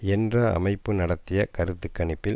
என்ற அமைப்பு நடத்திய கருத்து கணிப்பில்